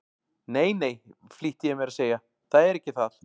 Nei, nei, flýtti ég mér að segja, það er ekki það.